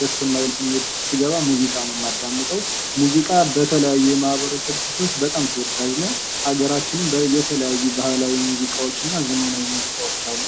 ደስ የማይል ስሜት ውስጥ ስገባ ሙዚቃ ነው የማዳመጠው ሙዚቃ በተለያዩ የማህበረሰብ ክፍሎች ተወዳጅ ነው በሀገራችን የተለያዩ ባህላዊና ዘመናዊ ሙዚቃዎች አሉ::